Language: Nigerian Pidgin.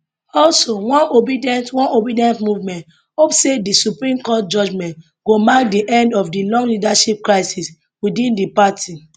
also one obedient one obedient movement hope say di supreme court judgement go mark di end of di long leadership crisis within di party